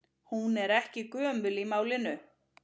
Hún er ekki gömul í málinu.